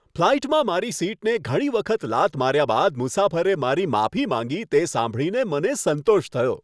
ફ્લાઈટમાં મારી સીટને ઘણી વખત લાત માર્યા બાદ મુસાફરે મારી માફી માંગી તે સાંભળીને મને સંતોષ થયો.